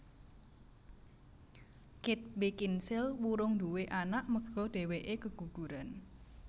Kate Beckinsale wurung duwe anak merga dewekke keguguran